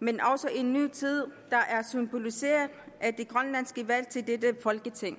men også en ny tid der er symboliseret af det grønlandske valg til dette folketing